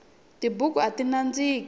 tibuku ati nandziki